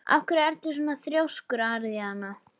Af hverju ertu svona þrjóskur, Aríaðna?